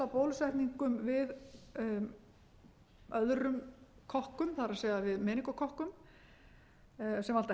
bólusetningum við öðrum kokkum það er við meningókokkum sem valda heilahimnubólgu árið tvö þúsund og tvö var farið að bólusetja